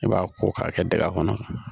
I b'a ko k'a kɛ dingɛ kɔnɔ